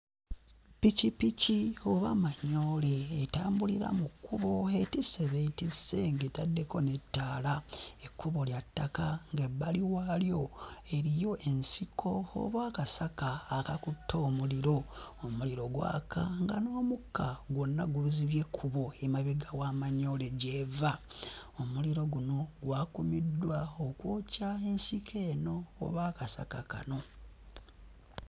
Ppikippiki oba manyoole etambulira mu kkubo, etisse b'etisse ng'etaddeko n'ettaala. Ekkubo lya ttaka ng'ebbali waalyo eriyo ensiko oba akasaka akakutte omuliro, omuliro gwaka nga n'omukka gwonna guzibye ekkubo emabega wa manyoole gy'eva. Omuliro guno gwakumiddwa okwokya ensiko eno oba akasaka kano.